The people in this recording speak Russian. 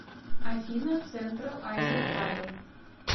афина централ азия травел